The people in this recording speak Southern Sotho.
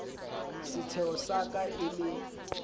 setsheho sa ka e le